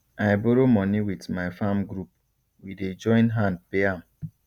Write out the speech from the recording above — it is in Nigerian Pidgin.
i borrow money with my farm group we dey join hand pay am